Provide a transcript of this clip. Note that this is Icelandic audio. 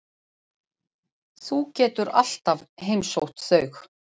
Þú getur alltaf heimsótt þau.